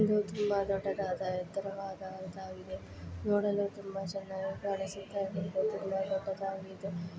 ಇದು ತುಂಬಾ ದೊಡ್ಡದಾದ ಎತ್ತರವಾದ ದಂತಾಗಿದೆ ನೋಡಲೂ ತುಂಬಾ ಚೆನ್ನಾಗಿ ಕಾಣಿಸುತ್ತಾ ಇದೆ ಇದು ತುಂಬಾ ದೊಡ್ಡದಾಗಿದ್ದು_